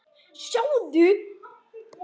SOPHUS: Sjáðu!